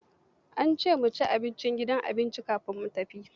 Ya ce mu ci abinci a gidan cin abinci kafin mu tafi.